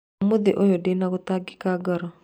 Ũmũthĩ ũyũ ndĩ na gũtangĩka ngoro